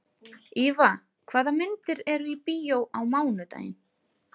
Íva, hvaða myndir eru í bíó á mánudaginn?